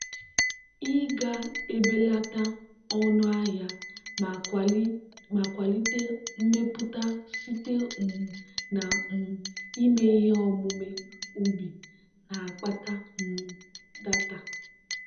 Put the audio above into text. ị ga-ebelata ọnụ ahịa ma kwalite mmepụta site um na um ịme ihe omume ubi na-akpata um data.